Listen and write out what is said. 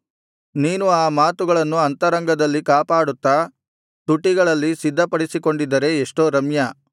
ನೀನು ಆ ಮಾತುಗಳನ್ನು ಅಂತರಂಗದಲ್ಲಿ ಕಾಪಾಡುತ್ತಾ ತುಟಿಗಳಲ್ಲಿ ಸಿದ್ಧಪಡಿಸಿಕೊಂಡಿದ್ದರೆ ಎಷ್ಟೋ ರಮ್ಯ